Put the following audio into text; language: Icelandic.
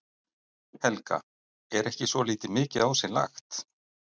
Helga: Er ekki svolítið mikið á sig lagt?